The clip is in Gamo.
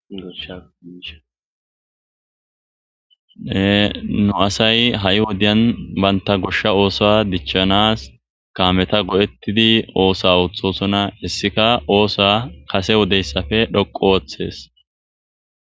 Enu asay ha7i wodiyan banta goshsha oosa dichchanas kaameta go7ettidi oosa ooththosona hissika oosa kase wodeyssafe dhoqo ooththes